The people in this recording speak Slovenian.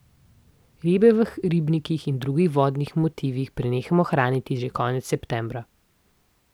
Ribe v ribnikih in drugih vodnih motivih prenehamo hraniti že konec septembra.